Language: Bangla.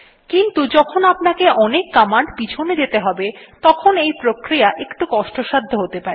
কিন্তু যখন আপনাকে অনেক কমান্ড পিছনে যেতে হবে তখন এই প্রক্রিয়া একটু কষ্টসাধ্য হতে পারে